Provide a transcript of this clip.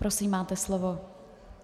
Prosím, máte slovo.